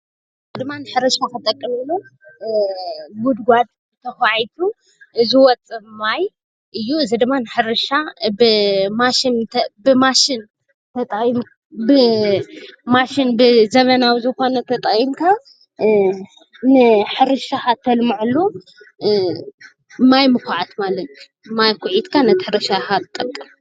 እዚ ድማ ንሕርሻ ክጠቅም ኢሉ ጉድጓድ ተዃዒቱ ዝወፅእ ማይ እዚ ድማ ንሕርሻ ብማሽን ብዘመናዊ ዝኾነ ተጠቒምካ ንሕርሻኻ ተልመዐሉ ማይ ምኩዓት ማለት እዩ፡፡ ማይ ኩዒትካ ነቲ ሕርሻኻ ይጠቅም፡፡